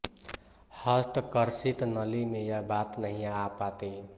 हस्त कर्षित नली में यह बात नहीं आ पाती